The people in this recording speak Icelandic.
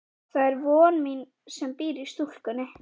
Það er von mín sem býr í stúlkunni.